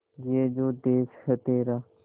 ये जो देस है तेरा